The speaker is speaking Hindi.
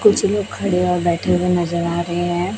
कुछ लोग खड़े और बैठे हुए नजर आ रहे है।